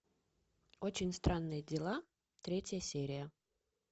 очень странные дела третья серия